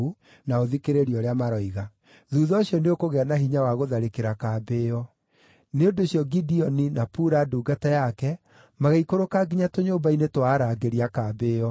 na ũthikĩrĩrie ũrĩa maroiga. Thuutha ũcio nĩũkũgĩa na hinya wa gũtharĩkĩra kambĩ ĩyo.” Nĩ ũndũ ũcio Gideoni na Pura ndungata yake magĩikũrũka nginya tũnyũmba-inĩ twa arangĩri a kambĩ ĩyo.